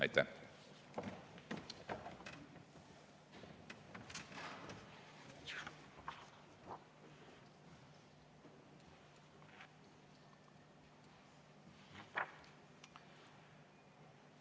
Aitäh!